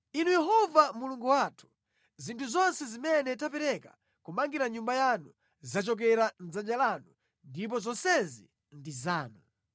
Inu Yehova Mulungu wathu, zinthu zonse zimene tapereka kumangira Nyumba yanu zachokera mʼdzanja lanu ndipo zonsezi ndi zanu.